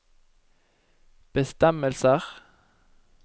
bestemmelser